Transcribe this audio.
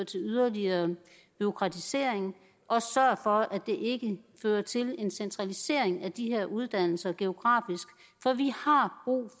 til yderligere bureaukratisering og sørg for at det ikke fører til en centralisering af de her uddannelser geografisk